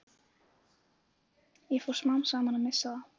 Svo fór ég smám saman að missa það.